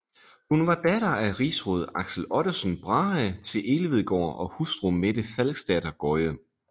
Hun var datter af rigsråd Axel Ottesen Brahe til Elvedgaard og hustru Mette Falksdatter Gøye